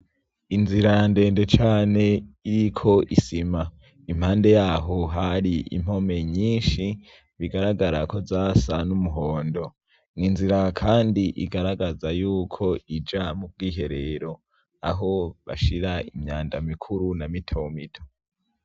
Inzira ya ndende cane iriko isima impande yaho hari impome nyinshi bigaragara ko zasa n'umuhondo nwinzira, kandi igaragaza yuko ija mu bw'iherero aho bashira imyanda mikuru na mitomito.